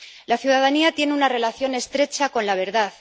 La ciudadanía tiene una relación estrecha con la verdad.